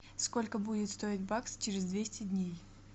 сколько будет стоить бакс через двести дней